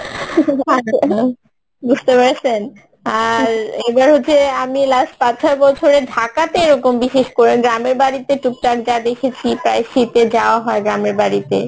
বুঝতে পারসেন? আর এবার হচ্ছে আমি last পাঁচ ছয় বছরে ঢাকাতে এইরকম বিশেষ করে গ্রামের বাড়িতে টুকটাক যা দেখেছি প্রায় শীতে যাওয়া হয় গ্রামের বাড়িতে